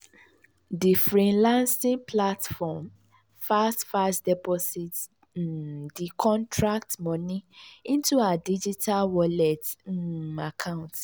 di freelancing platform fast-fast deposit um di contract moni into her digital wallet um account.